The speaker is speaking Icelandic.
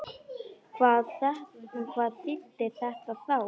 Hvað þýddi þetta þá?